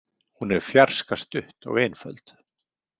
Hún er fjarska stutt og einföld.